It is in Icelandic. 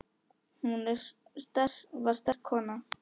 Hún var sterk kona.